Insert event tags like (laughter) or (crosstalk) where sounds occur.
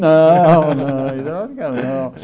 Não, (laughs) não, hidráulica não.